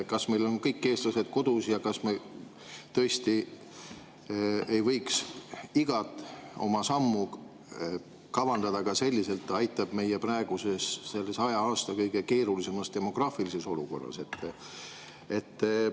Kas meil on kõik eestlased kodu ja kas me tõesti ei võiks igat oma sammu kavandada selliselt, et see aitaks meid praeguses 100 aasta kõige keerulisemas demograafilises olukorras?